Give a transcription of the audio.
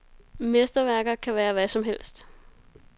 Mesterværker kan være hvad som helst.